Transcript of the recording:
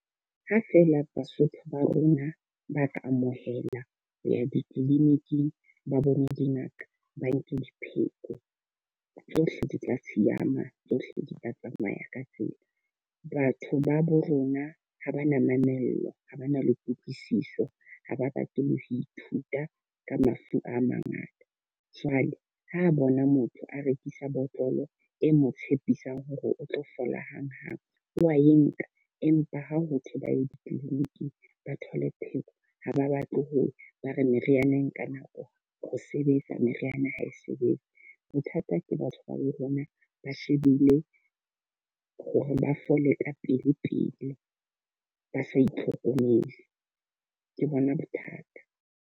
Ha feela Basotho ba rona ba ka amohela ho ya di-clinic-ing, ba bone dingaka, ba nke di pheko. Tsohle di tla siyama, tsohle di tla tsamaya ka tsela. Batho ba bo rona ha ba na mamello, ha ba na le kutlwisiso, ha ba rate ho ithuta ka mafu a mangata. Jwale ho bona motho a rekisa botlolo e mo tshepisang hore o tlo fola hang hape, wa e nka. Empa ha ho thwe ba ye di-clinic ba thole pheko ha ba batle ho ba re meriana e nka nako ho sebetsa, meriana ha e sebetse. Bothata ke batho ba bo rona ba shebile hore ba fole ka pele pele ba sa itlhokomele ke bona bothata.